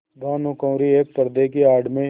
भानुकुँवरि एक पर्दे की आड़ में